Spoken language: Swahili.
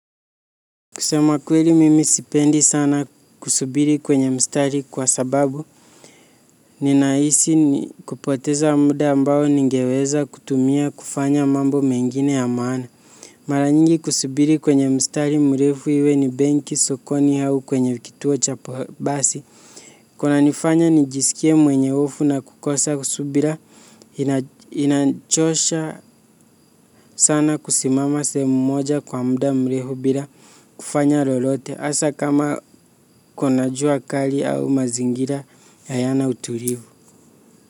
Kusema kweli mimi sipendi sana kusubiri kwenye mstari kwa sababu ninahisi kupoteza muda ambao ningeweza kutumia kufanya mambo mengine ya maana. Mara nyingi kusubiri kwenye mstari mrefu iwe ni benki, sokoni au kwenye kituo cha basi kunanifanya nijisikie mwenye hofu na kukosa subira inachosha sana kusimama sehemu moja kwa muda mrefu bila kufanya lolote hasa kama kuna jua kali au mazingira hayana utulivu.